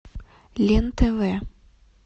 лен тв